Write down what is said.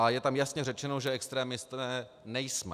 A je tam jasně řečeno, že extremisté nejsme.